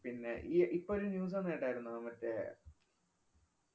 പിന്നെ ഈ ഇപ്പം ഒരു news വന്നെ കേട്ടാരുന്നോ? മറ്റേ